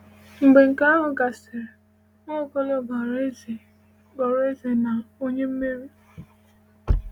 Mgbe nke ahụ gasịrị, Nwaokolo ghọrọ eze ghọrọ eze na onye mmeri.